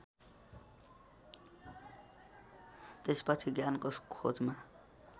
त्यसपछि ज्ञानको खोजमा